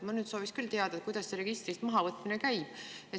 Ma sooviks teada, kuidas see registrist mahavõtmine käib.